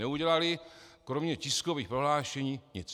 Neudělali kromě tiskových prohlášení nic.